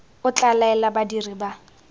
o tla laela badiri ba